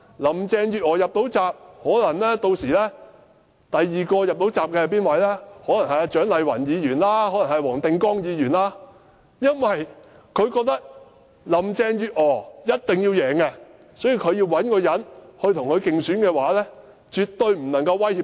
林鄭月娥能夠"入閘"，屆時第二位能夠"入閘"的，可能是蔣麗芸議員或黃定光議員，因為中央覺得林鄭月娥一定要勝出，所以絕對不能找一些能夠威脅她的人跟她競爭。